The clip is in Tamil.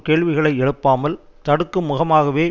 கேள்விகளை எழுப்பாமல் தடுக்கும் முகமாகவே